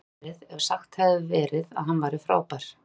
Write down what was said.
Betra hefði verið ef sagt hefði verið að hann væri frábær.